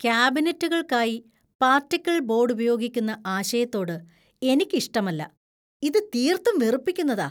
കാബിനറ്റുകൾക്കായി particle board ഉപയോഗിക്കുന്ന ആശയത്തോട് എനിക്ക് ഇഷ്ടമല്ല . ഇത് തീർത്തും വെറുപ്പിക്കുന്നതാ.